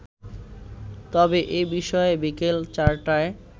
তবে এ বিষয়ে বিকেল চারটায়